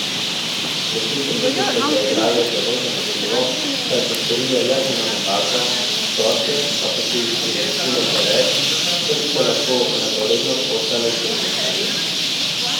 Gostiteljice so zaigrale zelo zanesljivo, saj so storile le eno napako, gostje pa so si jih privoščile preveč, da bi se lahko enakovredno kosale s tekmicami.